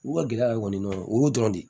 U ka gɛlɛya de kɔni o y'o dɔrɔn de ye